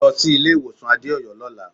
Lọ sí ilé-ìwọ̀sàn Adéọ̀yọ́ lọ́la.